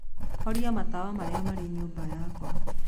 horia matawa marĩa marĩ nyũmba yakwa.